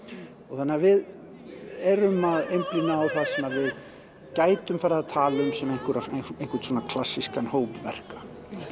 þannig að við erum að einblína á það sem við gætum farið að tala um sem einhvers einhvers konar klassískan hóp verka